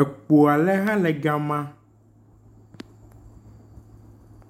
Ekpo aɖe hã le gama.